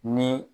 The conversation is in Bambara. Ni